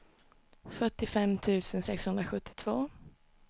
fyrtiofem tusen sexhundrasjuttiotvå